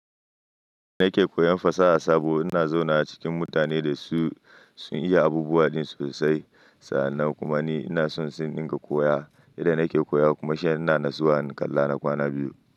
Ni nake koyan fasaha sabo. Ina zauna cikin mutane da su sun iya abubuwa din sosai. Sa'annan kuma ni ina so si ninka koya. Yanda nake koya kuma shi yana nasuwa in kalla na kwana biyu.